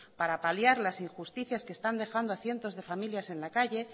para paliar las injusticias que están dejando a cientos de familias en la calle